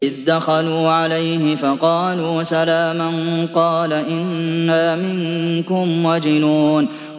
إِذْ دَخَلُوا عَلَيْهِ فَقَالُوا سَلَامًا قَالَ إِنَّا مِنكُمْ وَجِلُونَ